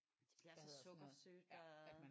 Det bliver så sukkersødt og